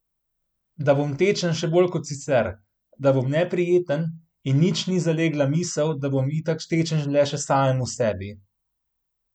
Da bom tečen še bolj kot sicer, da bom neprijeten, in nič ni zalegla misel, da bom itak tečen le še samemu sebi.